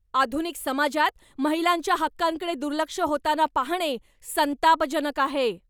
आधुनिक समाजात महिलांच्या हक्कांकडे दुर्लक्ष होताना पाहणे संतापजनक आहे.